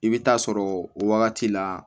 I bɛ taa sɔrɔ o wagati la